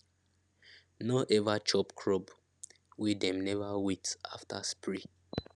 no ever chop crop wey dem never wait after spray